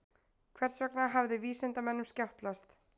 Hvers vegna hafði vísindamönnunum skjátlast?